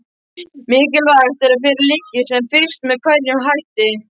Mikilvægt er að fyrir liggi sem fyrst með hverjum hætti